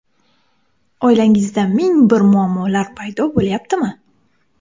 Oilangizda ming bir muammolar paydo bo‘layaptimi?